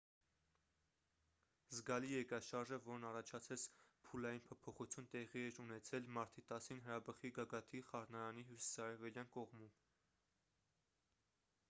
զգալի երկրաշարժը որն առաջացրեց փուլային փոփոխություն տեղի էր ունեցել մարտի 10-ին հրաբխի գագաթի խառնարանի հյուսիսարևելյան կողմում